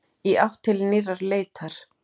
Í átt til nýrrar leitar.